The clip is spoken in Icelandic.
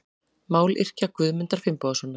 Mályrkja Guðmundar Finnbogasonar.